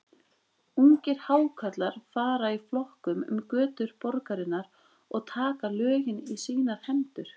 Ungir Hákarlar fara í flokkum um götur borgarinnar og taka lögin í sínar hendur.